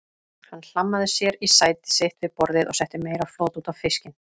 Hann hlammaði sér í sæti sitt við borðið og setti meira flot út á fiskinn.